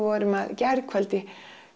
gærkvöldi